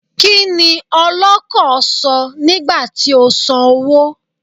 Kí ni ọlọ́kọ̀ sọ nígbà tí ó sàn owó?